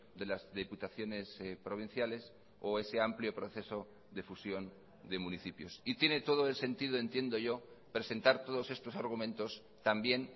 de las diputaciones provinciales o ese amplio proceso de fusión de municipios y tiene todo el sentido entiendo yo presentar todos estos argumentos también